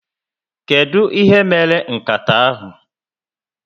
Kedu ihe mere nkata ahụ?